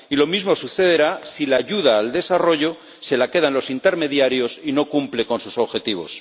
Y lo mismo sucederá si la ayuda al desarrollo se la quedan los intermediarios y no cumple sus objetivos.